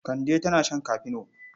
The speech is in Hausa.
Kande tana shan kafino.